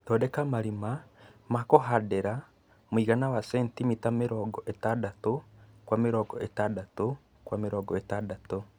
Thondeka marĩma ma kũhandira muigana wa centimita mirongo itandatu kwa mirongo itandatu kwa mirongo itandatu